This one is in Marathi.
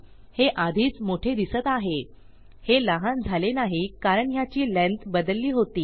हे आधीच मोठे दिसत आहे हे लहान झाले नाही कारण ह्याची लेंग्थ बदलली होती